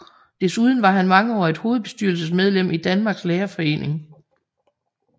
Desuden var han mangeårigt hovedstyrelsesmedlem i Danmarks Lærerforening